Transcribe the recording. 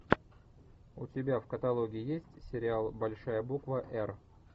у тебя в каталоге есть сериал большая буква р